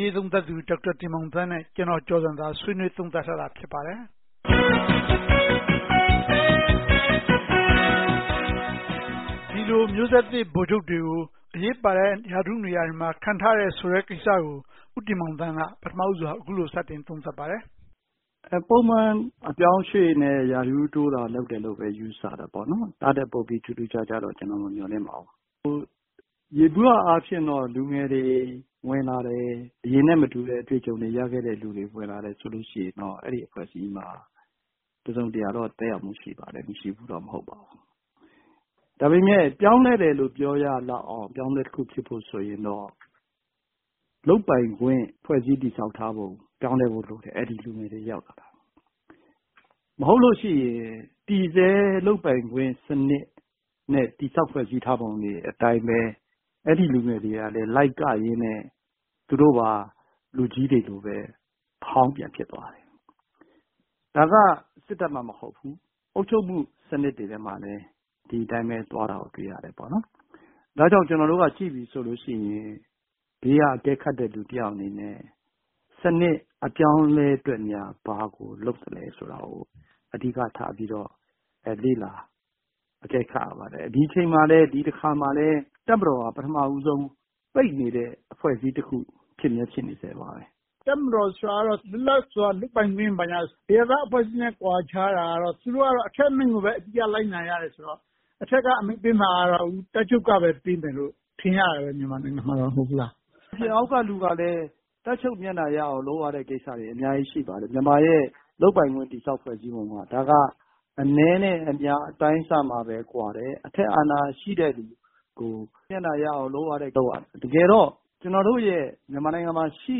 ရေးရာ သုံးသပ်သူ ဒေါက်တာတင်မောင်သန်းနဲ့ ဦးကျော်ဇံသာတို့ ဆွေးနွေးသုံးသပ်ထားပါတယ်။ မျိုးဆက်သစ်ဗိုလ်ချုပ်တွေ ရာထူးတိုးတဲ့ သတင်းအပေါ် ဦးတင်မောင်သန်း က အခုလို စဆွေးနွေးပါတယ်။ ပုံမှန်အပြောင်းအရွှေ့နဲ့ ရာထူးတိုး လုပ်တယ်လို့ပဲ ယူဆပါတယ်။ ဒါထက်ပိုပြီး ထူးထူးခြားခြားတော့ ကျနော် မမျှော်လင့်ပါဘူး။ ယေဘုယျအားဖြင့်တော့ လူငယ်တွေ ဝင်လာတယ်။ အရင်နဲ့မတူတဲ့ အတွေ့အကြုံတွေရခဲ့တဲ့ လူငယ်တွေ ဝင်လာတယ်ဆိုရင်တော့ အဲဒီအဖွဲ့အစည်းမှာ တစုံတရာတော့ သက်ရောက်မှုရှိပါတယ်။ မရှိဘူးတော့ မဟုတ်ပါဘူး။ ဒါပေမဲ့ ပြောင်းလဲတယ်လို့ ပြောရလောက်အောင် အပြောင်းအလဲတခု ဖြစ်ဖို့ဆိုရင်တော့ လုပ်ပိုင်ခွင့် ဖွဲ့စည်းတည်ဆောက်ထားပုံတွေ ပြောင်းလဲဖို့လိုတယ်။ အဲဒီလူငယ်တွေက။ မဟုတ်လို့ရှိရင် တည်ဆဲလုပ်ပိုင်ခွင့်စနစ်နဲ့ တည်ဆောက်ဖွဲ့စည်းထားပုံတွေအတိုင်းပဲ အဲဒီလူငယ်တွေက လိုက်ကရင်နဲ့ သူတို့ပါ လူကြီးတွေလိုပဲ အဟောင်းပြန်ဖြစ်သွားတယ်။ ဒါက စစ်တပ်မှမဟုတ်ဘူး။ အုပ်ချုပ်မှုစနစ်တွေမှာလည်း ဒီအတိုင်းသွားတာကို တွေ့ရတယ်။ ဒါကြောင့် ကျနော်တို့က ကြည့်ပြီဆိုလို့ရှိရင် ဘေးကအကဲခတ်တဲ့ လူတယောက်အနေနဲ့ စနစ်အပြောင်းအလဲအတွက်များ ဘာကိုလုပ်သလဲဆိုတာကို အဓိကထားပြီးတော့ လေ့လာအကဲခတ်ရပါတယ်။ ဒီတချိန်မှာလဲ ဒီတကြိမ်မှာလဲ တပ်မတော်က ပထမဦးဆုံး ပိတ်နေတဲ့ အဖွဲ့အစည်းတခု ဖြစ်မြဲဖြစ်နေဆဲပါပဲ။ တပ်မတော်ဆိုတာက လွတ်လပ်စွာ လုပ်ပိုင်ခွင့် ဘာညာ အရပ်သားအဖွဲ့အစည်းနဲ့ ကွာခြားတာကတော့ သူတို့ကတော့ အထက်အမိန့်ကိုပဲ အတိအကျလိုက်နာရတယ်ဆိုတော့ အထက်ကအမိန့်ပေးမှာကတော့ တပ်ချုပ်ကပဲ အမိန့်ပေးမယ်လို့ ထင်ရတာပဲ မြန်မာနိုင်ငံမှာ မဟုတ်ဘူးလား။ အောက်ကလူကလဲ တပ်ချုပ်မျက်နှာရအောင် လုပ်ရတဲ့ကိစ္စတွေ အများကြီးရှိပါတယ်။ မြန်မာနိုင်ငံရဲ့ လုပ်ပိုင်ခွင့်တည်ဆောက်ပုံက ဒါက အနည်းနဲ့အများ အတိုင်းအဆမှာပဲ ကွာတယ်။ အထက်အာဏာရှိတဲ့လူကို မျက်နှာရအောင် လုပ်ရတယ်။ တကယ်တော့ ကျနော်တို့ရဲ့ မြန်မာနိုင်ငံမှာရှိ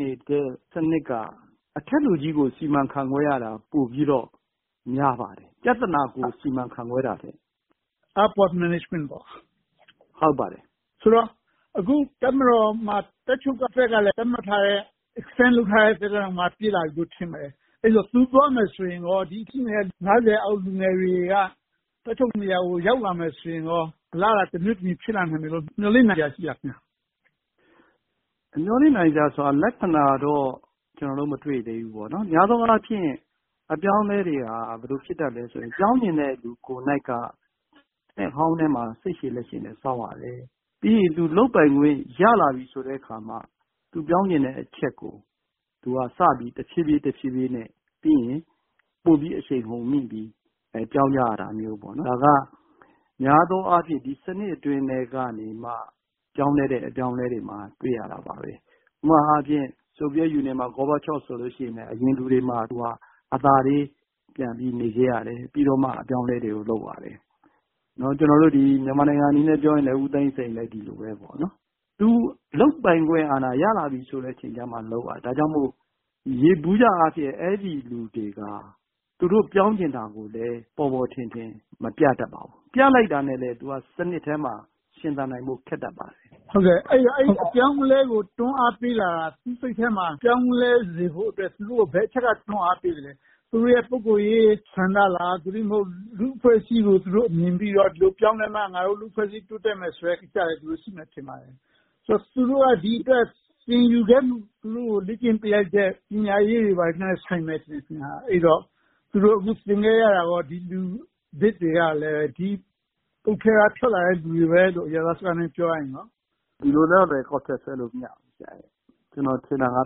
နေတဲ့ စနစ်က အထက်လူကြီးကို စီမံခန့်ခွဲရတာ ပိုပြီးတော့ များပါတယ်။ ပြဿနာကို စီမံခန့်ခွဲတာထက်။ ဆိုတော့ အခုတပ်မတော်မှာ တပ်ချုပ်အဖွဲ့ကလည်း သတ်မှတ်ထားတဲ့ Extended လုပ်ထားတဲ့ သက်တမ်းက ပြည့်လာပြီလို့ ထင်ပါတယ်။ အဲဒီတော့ သူသွားမယ်ဆိုရင် အခုရှိနေတဲ့ အောက် လူငယ်တွေထဲက တပ်ချုပ်နေရာကို ရောက်လာမယ့်ဆိုရင်ကော အလားအလာ တမျိုးတမည် ဖြစ်လာနိုင်မယ်လို့ မျှော်လင့်စရာ ရှိပါလား။ မျှော်လင့်စရာ လက္ခဏာတော့ ကျနော်တော့ မတွေ့သေးဘူး။ များသောအားဖြင့် အပြောင်းအလဲတွေက ဘယ်လိုဖြစ်တတ်သလဲဆိုရင် ပြောင်းချင်တဲ့သူ ကိုယ်တိုင်က နှစ်ဟောင်းထဲမှာ စိတ်ရှည်လက်ရှည်နဲ့ စောင့်ရတယ်။ ပြီးရင် သူလုပ်ပိုင်ခွင့် ရလာပြီဆိုမှ သူပြောင်းချင်တဲ့အချက်ကို သူက တဖြည်းဖြည်းနဲ့၊ ပြီးရင် ပိုပြီးအရှိန်ဟုန်မြှင့်ပြီး ပြောင်းကြရတာမျိုး။ ဒါက များသောအားဖြင့် ဒီစနစ်အတွင်းထဲကမှ ပြောင်းလဲတဲ့ အပြောင်းအလဲတွေမှာ တွေ့ရတယ်။ ဥပမာအားဖြင့် ဆိုဗီယက်ယူနီယံမှာ Gorbachev ဆိုရင် အရင်လူတွေမှာ အသားလေးပြန်ပြီး နေခဲ့ရတယ်။ ပြီးတော့မှ အပြောင်းအလဲတွေကို လုပ်ရတယ်။ မြန်မာနိုင်ငံအနေနဲ့ ပြောမယ်ဆိုရင်လဲ ဦးသိန်းစိန်လည်း ဒီလိုပဲပေါ့။ သူလုပ်ပိုင်ခွင့်အာဏာ ရလာပြီဆိုတဲ့အချိန်မှာပဲ လုပ်ရတယ်။ ဒါကြောင့်မို့ ယေဘုယျအားဖြင့် အဲဒီလူတွေက သူတို့ပြောင်းချင်တာကိုလဲ ပေါ်ပေါ်ထင်ထင် မပြတတ်ပါဘူး။ ပြလိုက်တာနဲ့ သူက စနစ်ထဲမှာ ရှင်သန်နိုင်ဖို့ ခက်တတ်ပါတယ်။ အဲဒီတော့ အပြောင်းအလဲကို တွန်းအားပေးလာတာ သူ့စိတ်ထဲမှာ ပြောင်းလဲစေဖို့အတွက် သူတို့ကို ဘယ်အချက်တွေက တွန်းအားပေးသလဲ။ သူတို့ရဲ့ ပုဂ္ဂိုလ်ရေးဆန္ဒလား။ သို့တည်းမဟုတ် လူ့အဖွဲ့အစည်းကို သူတို့မြင်ပြီးတော့ ဒီလိုပြောင်းလဲမှ ငါတို့လူ့အဖွဲ့အစည်း တိုးတက်မယ်ဆိုတဲ့ ကိစ္စတွေ ရှိမယ်ထင်ပါတယ်။ ဆိုတော့ သူတို့က ဒီအတွက် သင်ယူခဲ့မှု၊ သူတို့ကို လေ့ကျင့်ပေးလိုက်တဲ့ ပညာရေးတွေနဲ့ ဆိုင်မယ်ထင်လား။ အဲဒီတော့ သူတို့ အခုသင်ခဲ့ရတာကော လူသစ်တွေက ဒီပုတ်ထဲက ထွက်လာတဲ့လူတွေပဲလို့ အရပ်သားစကားနဲ့ ပြောရမလား။ ဒီလိုတော့လဲ ကောက်ချက်ဆွဲလို့ မရဘူး။ ကျနော်ထင်တာက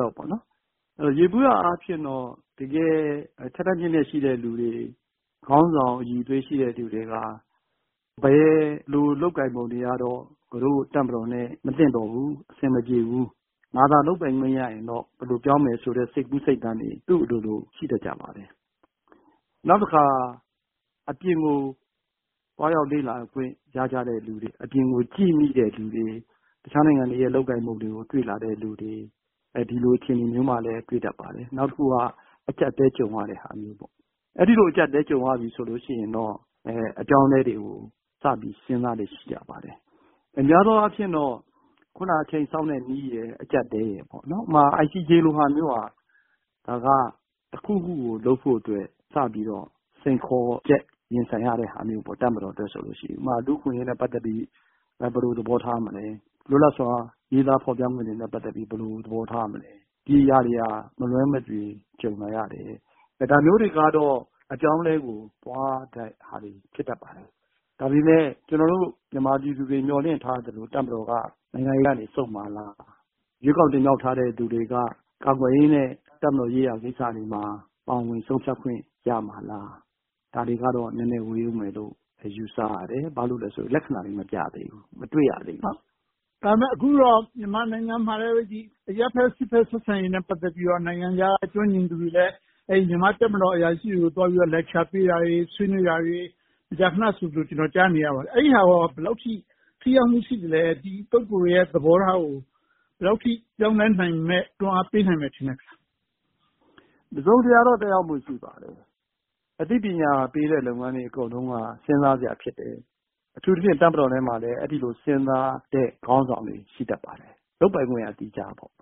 တော့ ယေဘုယျအားဖြင့်တော့ တကယ်ထက်ထက်မြတ်မြတ်ရှိတဲ့ လူတွေ၊ ခေါင်းဆောင်အရည်အသွေးရှိတဲ့ လူတွေက ဘယ်လိုလုပ်ကိုင်ပုံတွေကတော့ ငါတို့တပ်မတော်နဲ့ မသင့်တော်ဘူး။ အဆင်မပြေဘူး။ ငါသာ လုပ်ပိုင်ခွင့်ရရင်တော့ ဘယ်လိုပြောင်းမယ်ဆိုတဲ့ စိတ်ကူးစိတ်သန်းတွေ သူ့အလိုလို ရှိတတ်ကြပါတယ်။ နောက်တခါ အပြင်ကို သွားရောက်လေ့လာခွင့် ရကြတဲ့လူတွေ၊ အပြင်ကိုကြည့်ခွင့်ရတဲ့ လူတွေ။ အခြားနိုင်ငံတွေရဲ့ လုပ်ကိုင်ပုံတွေကို တွေ့လာတဲ့လူတွေ၊ ဒီလိုအခြေအနေမျိုးမှာလဲ တွေ့တတ်ပါတယ်။ နောက်တခုက အကျပ်အတည်းကြုံရတဲ့ဟာမျိုး။ အဲဒီလို အကျပ်အတည်းကြုံရပြီဆိုရင်တော့ အပြောင်းအလဲတွေကို စပြီးစဉ်းစားလေ့ ရှိတတ်ပါတယ်။ များသောအားဖြင့်တော့ အခုန အချိန်စောင့်တဲ့နည်းရယ်၊ အကျပ်အတည်းရယ်ပေါ့။ ဥပမာ ICJ လိုဟာမျိုးက ဒါက တစ်ခုခုကို လုပ်ဖို့အတွက် စပြီးတော့ စိန်ခေါ်ချက် ရင်ဆိုင်ရတဲ့ဟာမျိုး။ တပ်မတော်အတွက် ဆိုလို့ရှိရင်။ ဥပမာ လူ့အခွင့်အရေးနဲ့ ပတ်သက်ပြီး ဘယ်လိုသဘောထားမလဲ။ လွတ်လပ်စွာ ရေးသားဖော်ပြခွင့်တွေနဲ့ ပတ်သက်ပြီး ဘယ်လိုသဘောထားမလဲ။ ဒီအရာတွေက မလွှဲမသွေ ကြုံလာရတယ်။ ဒါမျိုးတွေကတော့ အပြောင်းအလဲကို သွားတဲ့ဟာတွေ ဖြစ်တတ်ပါတယ်။ ဒါပေမဲ့ ကျနော်တို့ မြန်မာပြည်သူတွေ မျှော်လင့်ထားသလို တပ်မတော်က နိုင်ငံရေးက ဆုတ်မှာလား။ ရွေးကောက်တင်မြှောက်ထားတဲ့ လူတွေက ကာကွယ်ရေးနဲ့ တပ်မတော်ရေးရာကိစ္စတွေမှာ ပါဝင်ဆုံးဖြတ်ခွင့် ရမှာလား။ ဒါတွေကတော့ နည်းနည်းဝေးအုံးမယ်လို့ ယူဆရတယ်။ ဘာဖြစ်လို့လဲဆိုတော့ လက္ခဏာတွေ မပြသေးဘူး။ မတွေ့ရသေးဘူး။ ဒါပေမဲ့ အခုတော့ မြန်မာနိုင်ငံမှာလဲ အရပ်ဘက်-စစ်ဘက် ဆက်ဆံရေးနဲ့ ပတ်သက်ပြီးတော့ နိုင်ငံခြားက ကျွမ်းကျင်သူတွေလဲ မြန်မာ့တပ်မတော် အရာရှိတွေကို သွားပြီးတော့ lecture ပေးတာတွေ၊ ဆွေးနွေးတာတွေ၊ မကြာခဏဆိုသလို ကျနော် ကြားနေရပါတယ်။ အဲဒီဟာက ဘယ်လောက်အထိ ထိရောက်မှု ရှိပါသလဲ။ ဒီ ပုဂ္ဂိုလ်တွေရဲ့ သဘောထားကို ဘယ်လောက်အထိ ပြောင်းလဲနိုင်မလဲ။ တွန်းအားပေးနိုင်မလဲ။ တစုံတရာတော့ သက်ရောက်မှု ရှိပါတယ်။ အသိပညာပေးတဲ့ လုပ်ငန်းတွေအကုန်လုံးက စဉ်းစားစရာ ဖြစ်တယ်။ အထူးသဖြင့် တပ်မတော်ထဲမှာလဲ အဲဒီလို စဉ်းစားတဲ့ခေါင်းဆောင်တွေ ရှိတတ်ပါတယ်။ လုပ်ပိုင်ခွင့်က အဓိကပေါ့။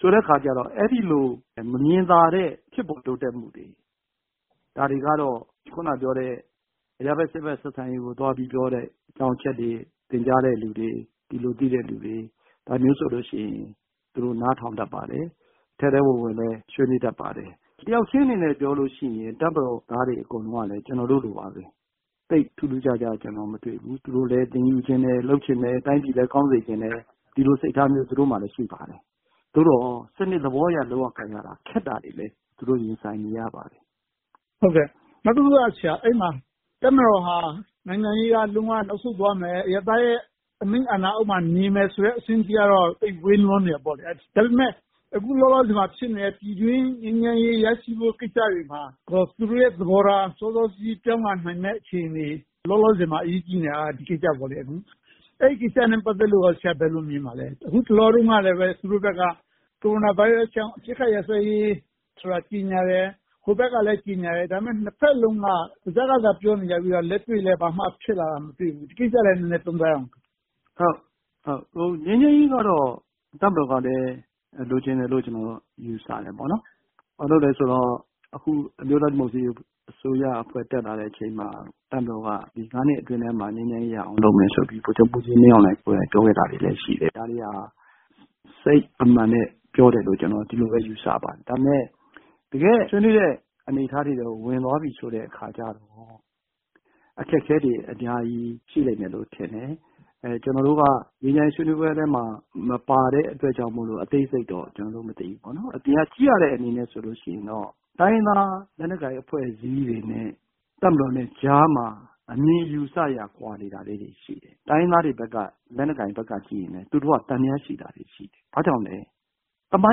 ဆိုတဲ့အခါကြတော့ အဲဒီလို မြင်သာတဲ့ ဖြစ်ပေါ်တိုးတက်မှုတွေ၊ ဒါတွေကတော့ အခုနပြောတဲ့ အရပ်ဘက်-စစ်ဘက် ဆက်ဆံရေးကို သွားပြီးပြောတဲ့ အကြောင်းအချက်တွေ၊ သင်ကြားတဲ့လူတွေ၊ ဒီလိုသိတဲ့လူတွေ၊ ဒါမျိုးတွေဆိုရင် သူတို့တွေ နားထောင်တတ်ပါတယ်။ ထဲထဲဝင်ဝင်လည်း ဆွေးနွေးတတ်ပါတယ်။ တယောက်ချင်းအနေနဲ့ ပြောလို့ရှိရင် တပ်မတော်သားတွေ အကုန်လုံးကလဲ ကျနော်တို့လိုပါပဲ။ သိပ်ထူးထူးခြားခြား ကျနော် မတွေ့ဘူး။ သူတို့လဲ သင်ယူချင်တယ်။ လုပ်ချင်တယ်။ တိုင်းပြည်လည်း ကောင်းစေချင်တယ်။ ဒီလိုစိတ်ထားမျိုး သူတို့မှာ ရှိပါတယ်။ သို့သော် စနစ်သဘောအရ လုပ်ရကိုင်ရတာ ခက်တာတွေလဲ သူတို့ရင်ဆိုင်နေရပါတယ်။ နောက်တခုက အဲဒီမှာ တပ်မတော်က နိုင်ငံရေးက လုံးဝနောက်ဆုတ်သွားရမယ်။ အရပ်သားရဲ့ အမိန့်အာဏာအောက်မှာ နေမယ်ဆိုတဲ့အဆင့်အထိကတော့ သိပ်ဝေးလွန်နေသေးတယ်ပေါ့။ ဒါပေမဲ့ အခုလောလောဆယ်မှာ ဖြစ်နေတဲ့ ပြည်တွင်းငြိမ်းချမ်းရေး ရရှိဖို့ကိစ္စတွေမှာကော သူုတို့ရဲ့ သဘောထား စောစောစီးစီး ပြောင်းလာနိုင်မယ့် အခြေအနေတွေ။ လောလောဆယ်မှာ အရေးကြီးနေတာက ဒီကိစ္စပေါ့။ အဲဒီကိစ္စနဲ့ ပတ်သက်လို့ကော ဆရာ ဘယ်လိုမြင်ပါသလဲ။ အခုတလောလုံးကလဲ သူတို့ဘက်က ကိုရိုနာဗိုင်းရပ်စ်ကြောင့် အပစ်ခတ်ရပ်စဲရေးကို ကြေညာတယ်။ ဟိုဘက်ကလဲ ကြေညာတယ်။ ဒါပေမဲ့ နှစ်ဘက်စလုံးက ပါးစပ်ကသာ ပြောနေပြီးတော့ လက်တွေ့မှာတော့ ဘာမှဖြစ်လာတာ မတွေ့ဘူး။ ဒီကိစ္စကိုလဲ နည်းနည်းသုံးသပ်ပေးပါ။ ငြိမ်းချမ်းရေးကတော့ တပ်မတော်ကလည်း လိုချင်တယ်လို့ ကျနော် ယူဆတယ်။ ဘာဖြစ်လို့လဲဆိုတော့ အခု အမျိုးသားဒီမိုကရေစီ အစိုးရ တက်လာတဲ့အချိန်မှာ တပ်မတော်က ဒီ နှစ်အတွင်းမှာ ငြိမ်းချမ်းရေးရအောင် လုပ်မယ်ဆိုပြီးတော့ ဗိုလ်ချုပ်မှူးကြီးမင်းအောင်လှိုင်ကိုယ်တိုင် ပြောခဲ့တာတွေလဲ ရှိတယ်။ ဒါတွေက စိတ်အမှန်နဲ့ ပြောတယ်လို့ပဲ ယူဆပါတယ်။ ဒါပေမဲ့ တကယ့်ဆွေးနွေးတဲ့ အနေအထားတွေထဲ ဝင်သွားပြီးဆိုတဲ့အခါမှာ အခက်အခဲတွေ အများကြီး ရှိလိမ့်မယ်လို့ ထင်တယ်။ ကျနော်တို့က ငြိမ်းချမ်းရေးဆွေးနွေးပွဲထဲမှာ မပါတဲ့အတွက်ကြောင့်မို့ အသေးစိတ်တော့ ကျနော်တို့ မသိဘူး။ အပြင်က ကြည့်ရတဲ့အမြင်နဲ့ဆိုရင်တော့ တိုင်းရင်းသားလက်နက်ကိုင် အဖွဲ့အစည်းတွေနဲ့ တပ်မတော်နဲ့ကြားမှာ အမြင်အယူအဆတွေက ကွာနေတာတွေ ရှိတယ်။ တိုင်းရင်းသားတွေဘက်က လက်နက်ကိုင်တွေဘက်ကကြည့်ရင် သူတို့က သံသယရှိတာတွေ ရှိတယ်။ ဘာကြောင့်လဲ သမို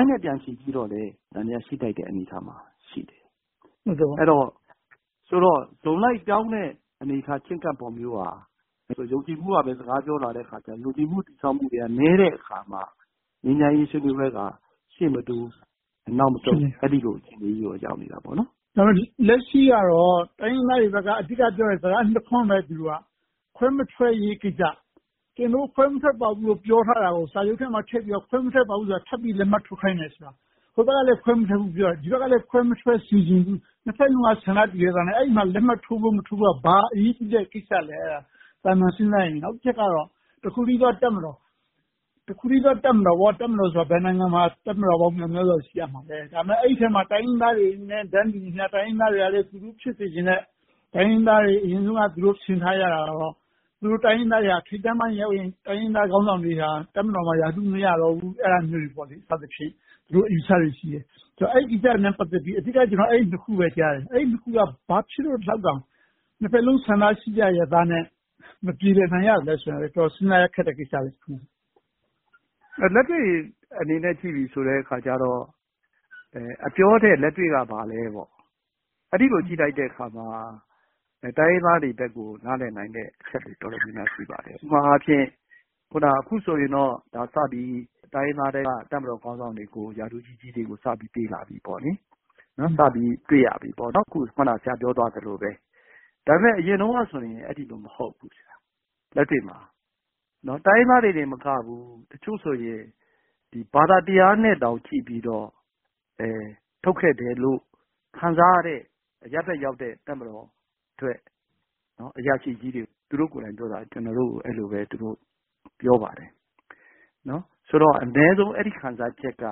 င်းနဲ့ ပြန်ချီပြီးတော့လဲ သံသယ ရှိထိုက်တဲ့ အနေအထားမှာ ရှိတယ်။ ဆိုတော့ စုံလိုက်ပြောင်းတဲ့ ချဉ်းကပ်ပုံမျိုးက ယုံကြည်မှုကပဲ စကားပြောလာတဲ့အခါကြတော့ ယုံကြည်မှု တည်ဆောက်မှုတွေက နည်းတဲ့အခါမှာ ငြိမ်းချမ်းရေးဆွေးနွေးပွဲက ရှေ့မတိုး နောက်မဆုတ် အဲဒီလို အခြေအနေမျိုးကို ရောက်ရှိနေတယ်။ လက်ရှိကတော့ တိုင်းရင်းသားတွေဘက်က အဓိက ပြောနေတာက စကားနှစ်ခွန်းပဲ။ ခွဲမထွက်ရေးကိစ္စ။ ကျနော်တို့ ခွဲမထွက်ပါဘူးလို့ ပြောထားတာကို စာချုပ်ထဲမှာထည့်ပြီးတော့ ခွဲမထွက်ပါဘူးလို့ ထပ်ပြီးလက်မှတ်ထိုးခိုင်းတယ်ဆိုတာ။ ဟိုဘက်ကလဲ ခွဲမထွက်ဘူးပြောတယ်။ ဒီဘက်ကလဲ ခွဲမထွက်စေချင်ဘူး။ နှစ်ဘက်စလုံးက ဆန္ဒတူညီစွာနဲ့ အဲဒီမှာ လက်မှတ်ထိုးဖို့ မထိုးဖို့က ဘာအရေးကြီးတဲ့ကိစ္စလဲ။ သာမန်စဉ်းစားရင်။ နောက်တချက်က တခုတည်းသော တပ်မတော်။ တပ်မတော်ဆိုတာ ဘယ်နိုင်ငံမှာမဆို တပ်မတော်ပေါင်း မြောက်မြားစွာ ရှိရမှာလဲ။ ဒါပေမဲ့ အဲဒီထဲမှာ တိုင်းရင်းသားတွေနဲ့ တန်းတူညီမျှ။ တိုင်းရင်းသားတွေကလဲ သူတို့ဖြစ်စေချင်တဲ့ တိုင်းရင်းသားတွေ အရင်တုန်းက ထင်ထားကြတာက သူတို့တိုင်းရင်းသားတွေက ထိပ်တန်းပိုင်းရောက်ရင် တိုင်းရင်းသားတွေက ရာထူးမရကြတော့ဘူး။ အဲဒါမျိုးတွေ စသည်ဖြင့် ဒီလိုအယူအဆတွေရှိတယ်။ အဲဒီကိစ္စတွေနဲ့ ပတ်သက်ပြီး ကျနော် အဓိက အဲဒီနှစ်ခုပဲ ကြားတယ်။ အဲဒီနှစ်ခုက ဘာဖြစ်လို့ ဒီလောက်တောင် နှစ်ဘက်စလုံး ဆန္ဒရှိကြရဲ့သားနဲ့ မပြေလဲနိုင်ရသလဲဆိုတာကို အတော်လေး စဉ်းစားရခက်နေတယ်။ လက်တွေ့အနေနဲ့ ကြည့်ပြီးဆိုတဲ့အခါကြတော့ အပြောထက် လက်တွေ့က ဘာလဲ။ အဲဒီလို ကြည့်လိုက်တဲ့အခါမှာ တိုင်းရင်းသားတွေဘက်ကို နားလည်နိုင်တဲ့ အချက်တွေ တော်တော်များများ ရှိပါတယ်။ ဥပမာအားဖြင့် အခုဆိုရင်တော့ တိုင်းရင်းသားထဲက တပ်မတော်ခေါင်းဆောင်တွေကို ရာထူးကြီးကြီးတွေကို စပြီးတော့ ပေးလာပြီ။ အခုန ဆရာပြောသွားသလိုပဲ။ ဒါပေမဲ့ အရင်တုန်းကဆိုရင် အဲဒီလို မဟုတ်ဘူး။ လက်တွေ့မှာ။ တိုင်းရင်းသားတွေသာမကဘူး၊ တချို့ဆိုရင် ဘာသာတရားနဲ့တောင် ကြည့်ပြီးတော့၊ ထုတ်ခဲ့တယ်လို့ ခံစားရတဲ့ အရပ်ဘက်ရောက်တဲ့ တပ်မတော်အတွက် အရာရှိကြီးတွေ၊ သူတို့ကိုယ်တိုင်ပြောတာ ကျနော်တို့ကို အဲဒီလိုပဲ ပြောပါတယ်။ ဆိုတော့ အနည်းဆုံး အဲဒီခံစားချက်က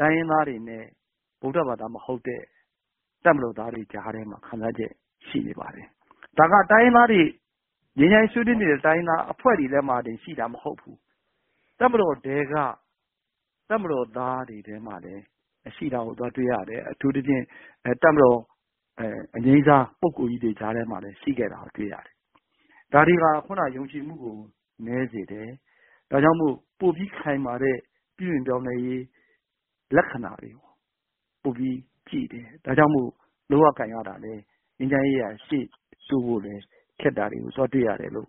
တိုင်းရင်းသားတွေနဲ့ ဗုဒ္ဓဘာသာမဟုတ်တဲ့ တပ်မတော်သားတွေကြားထဲမှာ ခံစားချက် ရှိနေပါတယ်။ ဒါက တိုင်းရင်းသားတွေ ငြိမ်းချမ်းရေးဆွေးနွေးနေတဲ့ တိုင်းရင်းသားအဖွဲ့တွေထဲမှာ ရှိတာမဟုတ်ဘူး။ တပ်မတော်ထဲက တပ်မတော်သားတွေထဲမှာလည်း ရှိတာကို သွားတွေ့ရတယ်။ အထူးသဖြင့် တပ်မတော်အငြိမ်းစား၊ ပုဂ္ဂိုလ်ကြီးတွေကြားထဲမှာလဲ ရှိခဲ့တာကို တွေ့ရတယ်။ ဒါတွေက အခုန ယုံကြည်မှုကို နည်းစေတယ်။ ဒါကြောင့်မို့ ပိုပြီးခိုင်မာတဲ့ ပြုပြင်ပြောင်းလဲရေး လက္ခဏာတွေကို ပိုပြီးကြည့်တယ်။ ဒါကြောင့်မို့ လုပ်ရကိုင်ရတာလဲ ငြိမ်းချမ်းရေးက ရှေ့တိုးဖို့လဲ ခက်တာတွေကို သွားတွေ့ရတယ်လို့